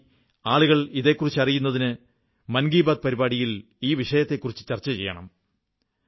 ദയവായി ആളുകൾ ഇതേക്കുറിച്ച് അറിയുന്നതിന് മൻകീ ബാത് പരിപാടിയിൽ ഈ വിഷയത്തെക്കുറിച്ചു ചർച്ച ചെയ്യണം